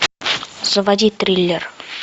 заводи триллер